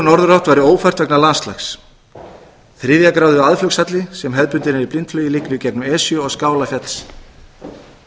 norðurátt væri ófært vegna landslags þriðju gráðu aðflugshalli sem hefðbundinn er í blindflugi liggur í gegnum esju og